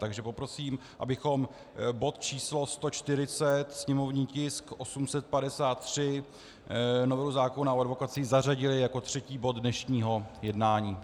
Takže poprosím, abychom bod č. 140, sněmovní tisk 853, novelu zákona o advokacii, zařadili jako třetí bod dnešního jednání.